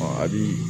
a bi